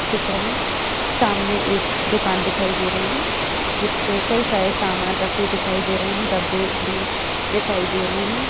चित्र मे सामने एक दुकान दिखाई दे रही है जिसपे कई सामान दिखाई दे हैं डब्बे भी दिखाई दे रहे है।